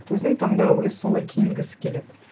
өзінің таңдауы өзі солай киінгісі келеді